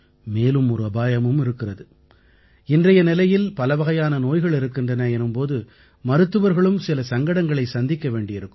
மேலும் அபாயமும் இருக்கிறது இன்றைய நிலையில் பலவகையான நோய்கள் இருக்கின்றன எனும் போது மருத்துவர்களும் சில சங்கடங்களை சந்திக்க வேண்டி இருக்கும்